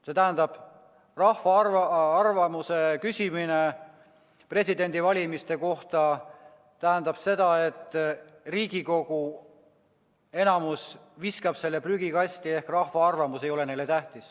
See tähendab seda, et rahva arvamuse küsimise presidendivalimise kohta viskab Riigikogu enamus prügikasti ehk rahva arvamus ei ole neile tähtis.